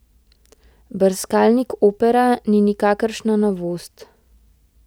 Brskalnik Opera ni nikakršna novost.